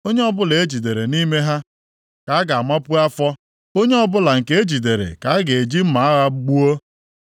Onye ọbụla e jidere nʼime ha ka a ga-amapu afọ, onye ọbụla nke e jidere ka a ga-eji mma agha gbuo.